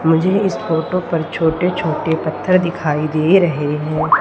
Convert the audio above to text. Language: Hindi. मुझे इस फोटो पर छोटे छोटे पत्थर दिखाई दे रहे हैं।